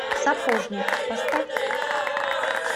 сапожник поставь